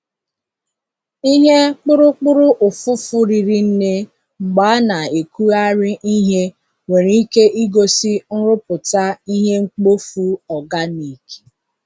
Ihe kpụrụkpụrụ ụfụfụ riri nne mgbe a na-ekugharị ihe nwere ike igosi nrụpụta ihe mkpofu organic.